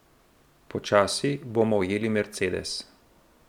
Počasi bomo ujeli Mercedes.